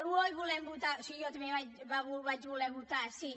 oh i volem votar sí jo també vaig voler votar sí